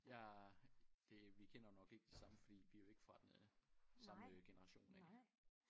Jeg det vi kender jo nok ikke de samme fordi vi er jo ikke fra den øh samme øh generation